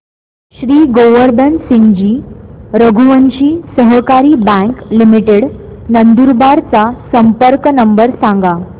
श्री गोवर्धन सिंगजी रघुवंशी सहकारी bank limited Nandurbar चा संपर्क नंबर सांगा